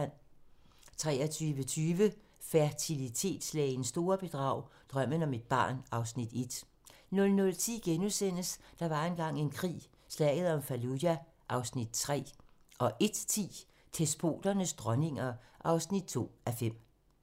23:20: Fertilitetslægens store bedrag - Drømmen om et barn (Afs. 1) 00:10: Der var engang en krig - Slaget om Fallujah (Afs. 3)* 01:10: Despoternes dronninger (2:5)